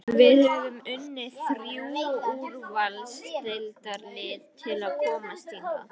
Við höfum unnið þrjú úrvalsdeildarlið til að komast hingað.